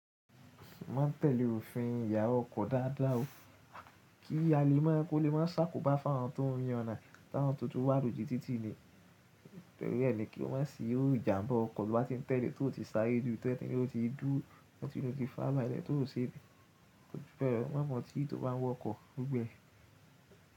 Mo má n tẹ̀lé òfin ìyàna ọkọ dáadáa o, kí a lè má kó lè má sàkóbá fá àwọn tó ń yànna táwọn tó tún wà lóju títí ni. Nitori e kí ó má sì ìjàmbá ọkọ̀ to bá ti ń tẹ́lẹ̀ tó ti sáre ju tẹ́ pe o ti dúro, too muti, to fàra bálẹ́ tó ò ṣe bẹ́ẹ̀, ó máa mọ̀tí tó n bá wọ ọkọ̀ gbogbo e.